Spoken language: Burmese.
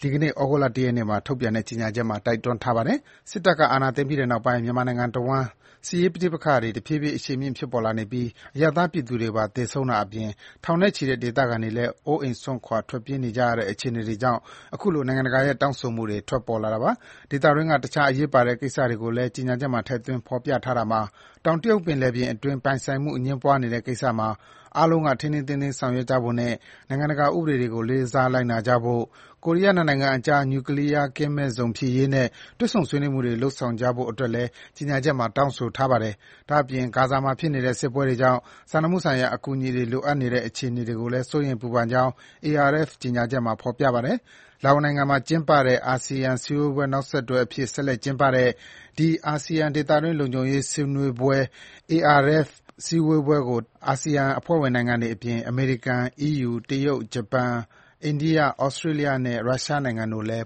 ဒီကနေ့ ဩဂုတ်လ ၁ ရက်နေ့မှာ ထုတ်ပြန်တဲ့ ကြေညာချက်မှာ တိုက်တွန်းထားပါတယ်။ စစ်တပ်က အာဏာ သိမ်းပြီးတဲ့နောက်ပိုင်း မြန်မာနိုင်ငံတဝန်း စစ်ရေးပဋိပက္ခတွေ တဖြည်းဖြည်း အရှိန်မြင့် ဖြစ်ပေါ်လာနေပြီး အရပ်သားပြည်သူတွေပါ သေဆုံးတာအပြင် ထောင်နဲ့ချီတဲ့ ဒေသခံတွေလည်း အိုးအိမ်စွန့်ခွာ ထွက်ပြေးနေကြရတဲ့ အခြေအနေတွေကြောင့် အခုလို နိုင်ငံတကာရဲ့ တောင်းဆိုမှုတွေ ထွက်ပေါ်လာတာပါ။ ဒေသတွင်းက တခြားအရေးပါတဲ့ကိစ္စကိုလည်း ကြေညာချက်မှာ ထည့်သွင်း ဖော်ပြထားတာမှာ - တောင်တရုတ်ပင်လယ်ပြင်အတွင်း ပိုင်ဆိုင်မှုအငြင်းပွားနေတဲ့ကိစ္စမှာ အားလုံးက ထိန်းထိန်းသိမ်းသိမ်း ဆောင်ရွက်ကြဖို့နဲ့ နိုင်ငံတကာ ဥပဒေတွေကို လေးစား လိုက်နာကြဖို့၊ ကိုရီးယား နှစ်နိုင်ငံအကြား နျူကလီးယားကင်းမဲ့ဇုံဖြစ်ရေးနဲ့ တွေ့ဆုံ ဆွေးနွေးမှုတွေ လုပ်ဆောင်ကြဖို့အတွက်လည်း ကြေညာချက်မှာ တောင်းဆိုထားပါတယ်။ ဒါ့အပြင် ဂါဇာမှာဖြစ်နေတဲ့ စစ်ပွဲတွေကြောင့် စာနာမှုဆိုင်ရာ အကူအညီတွေ လိုအပ်နေတဲ့အခြေအနေကိုလည်း စိုးရိမ် ပူပန်ကြောင်း ARF ကြေညာချက်မှာ ဖော်ပြထားပါတယ်။ လာအိုနိုင်ငံမှာကျင်းပတဲ့ အာဆီယံ စည်းဝေးပွဲ နောက်ဆက်တွဲအဖြစ် ဆက်လက်ကျင်းပတဲ့ ဒီ အာဆီယံ ဒေသတွင်း လုံခြုံရေးဆွေးနွေးပွဲကို အာဆီယံ အဖွဲ့ဝင်နိုင်ငံတွေအပြင် အမေရိကန်၊ အီးယူ၊ တရုတ်၊ ဂျပန်၊ အိန္ဒိယ၊ ဩစတြေးလျနဲ့ ရုရှားနိုင်ငံတို့လည်း